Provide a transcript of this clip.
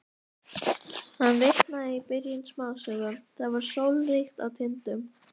Hann vitnaði í byrjun smásögu: Það var sólríkt á Tindum.